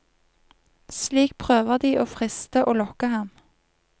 Slik prøver de å friste og lokke ham.